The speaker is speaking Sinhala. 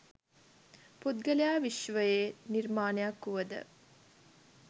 පුද්ගලයා විශ්වයේ නිර්මාණයක් වුවද